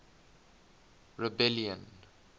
rebellion